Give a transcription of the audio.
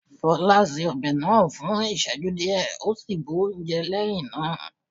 Fola ṣe ọbẹ̀ náà fún ìsẹ́jú díẹ̀ ó sì bu oúnjẹ lẹ́hìn náà.